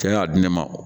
Cɛ y'a di ne ma